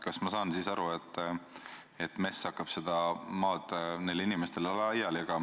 Kas ma saan õigesti aru, et MES hakkab seda maad nendele inimestele laiali jagama?